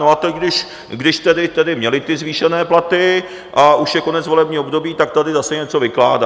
No a teď když tedy měli ty zvýšené platy a už je konec volebního období, tak tady zase něco vykládá.